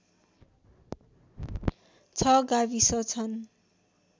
६ गाविस छन्